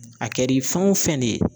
A kɛr'i fɛn o fɛn ne ye